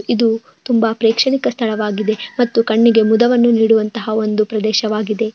ಇದು ತುಂಬಾ ಪ್ರೇಕ್ಷಣಿಕ ಸ್ಥಳವಾಗಿದೆ ಮತ್ತು ಕಣ್ಣಿಗೆ ಮುದವನ್ನು ನೀಡುವಂತಹಾ ಒಂದು ಪ್ರದೇಶವಾಗಿದೆ.